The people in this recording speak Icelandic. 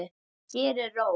Hér er ró.